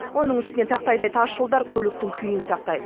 оның үстіне тақтайдай тас жолдар көліктің күйін сақтайды